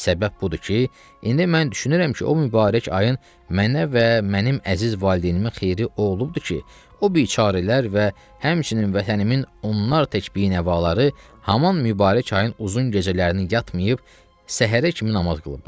Səbəb budur ki, indi mən düşünürəm ki, o mübarək ayın mənə və mənim əziz valideynimin xeyri o olubdur ki, o biçarələr və həmçinin vətənimin onlar tək bi-nəvaları haman mübarək ayın uzun gecələrinin yatmayıb səhərə kimi namaz qılıblar.